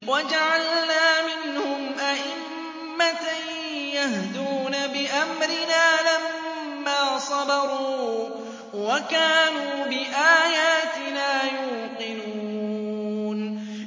وَجَعَلْنَا مِنْهُمْ أَئِمَّةً يَهْدُونَ بِأَمْرِنَا لَمَّا صَبَرُوا ۖ وَكَانُوا بِآيَاتِنَا يُوقِنُونَ